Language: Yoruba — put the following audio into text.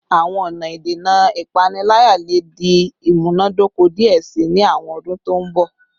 Awọn ọna idena ipanilaya le di imunadoko diẹ sii ni awọn ọdun to n bọ